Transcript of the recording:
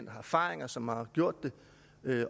har erfaring og som har gjort det